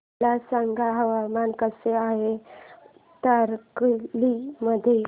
मला सांगा हवामान कसे आहे तारकर्ली मध्ये